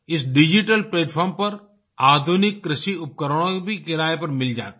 इस digital platform पर आधुनिक कृषि उपकरण भी किराये पर मिल जाते हैं